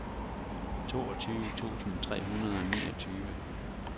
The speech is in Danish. toogtyve tusind tre hundrede og niogtyve